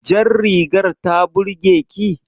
Jar rigar ta burge ki?